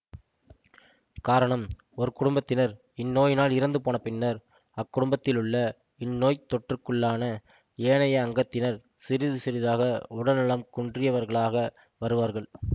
காரணம் ஒரு குடும்பத்தினர் இந்நோயினால் இறந்து போனபின்னர் அக்குடும்பத்திலுள்ள இந்நோய்த் தொற்றுக்குள்ளான ஏனைய அங்கத்தினர் சிறிது சிறிதாக உடல்நலம் குன்றியவர்களாக வருவார்கள்